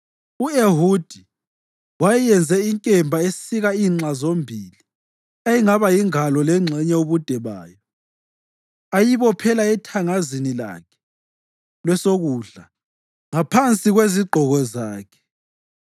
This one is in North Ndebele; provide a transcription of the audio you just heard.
U-Ehudi wayenze inkemba esika inxa zombili eyayingaba yingalo lengxenye ubude bayo, ayibophela ethangazini lakhe lwesokudla ngaphansi kwezigqoko zakhe.